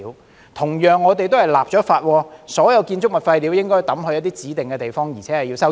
我們同樣為此立法，訂明所有建築物廢料都應丟在指定地方並須收費。